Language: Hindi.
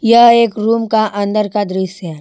यह एक रूम का अंदर का दृश्य है।